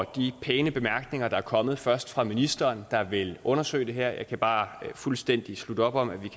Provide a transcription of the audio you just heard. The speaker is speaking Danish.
de pæne bemærkninger der er kommet først fra ministeren der vil undersøge det her jeg kan bare fuldstændig slutte op om at vi